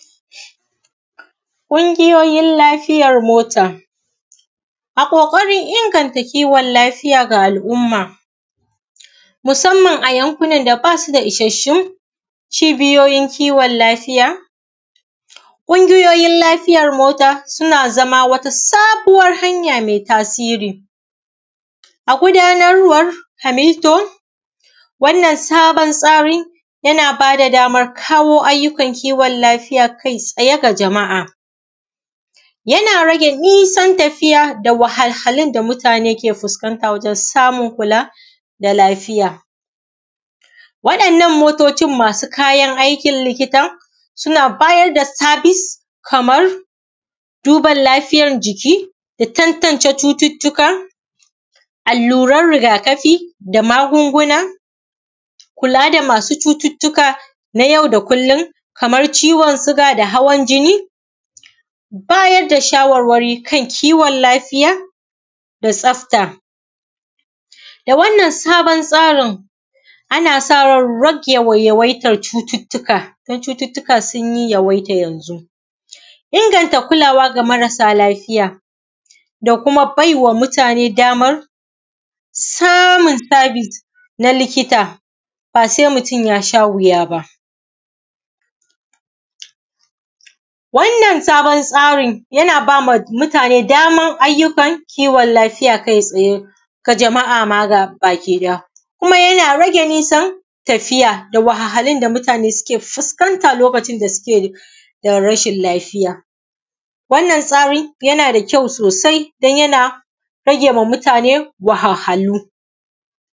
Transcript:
ƙungiyoyin lafiyar mota. A ƙoƙarin inganta lafiya ga al’umma, musamman a yankun nan da basu da isashun cibiyoyin kiwon lafiya, ƙungiyoyin lafiyar mota, suna zama wata sabuwan hanya mai tasiri. A gudanarwar hamiltum, wannan sabon tsari yana bada dama damar kawo ayyukan kiwon lafiya kai tsaye ga jama’a, yana rage nisan tafiya da walhahalun da mutane ke fuskanta, wajen samun kula, da lafiya. Wadannan motocin masu kayan aikin likitan, suna bayar da sabis, kamar duban lafiyar jiki, da tantance cututtuka, alluran rigakafi da magunguna, kula da masu cututtuka na yau da kullum, kamar ciwon suga da hawan jini, bayar da shawarwari kan kiwon lafiya, da tsafta. Da wannan sabon tsarin ana sa ran rage yawaitan cutattuka, don cututtuka sun yawaita yanzu. Inganta kulawa ga marasa lafiya, da kuma baiwa mutane daman samun sabis na likita, ba sai mutum yasha wuya ba. Wannan sabon tsarin yana bama mutane daman ayyukan kiwon lafiya kai tsaye ga jama’a ma gabaki ɗaya, kuma yana rage nisan tafiya, da wahalhalun da mutane suke fuskanta lokacin da suke da rashin lafiya. Wannan tsarin yana da kyau sosai, don yana ragema mutane wahalhalu. s